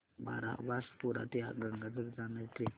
बारबासपुरा ते गंगाझरी जाणारी ट्रेन